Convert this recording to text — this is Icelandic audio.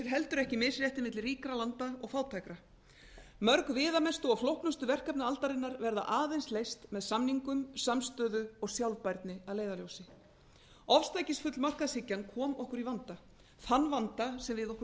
heldur ekki misréttið mikla ríkra landa og fátækra mörg viðamestu og flóknustu verkefni aldarinnar verða aðeins leyst með samningum samstöðu og sambærni að leiðarljósi ofstækisfull markaðshyggjan kom okkur í vanda þann vanda sem við okkur